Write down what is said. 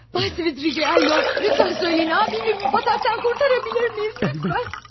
Cənab Svidriqaylov, zəhmət olmasa deyin, qardaşımı bu bataqlıqdan xilas edə bilərsinizmi, zəhmət olmasa?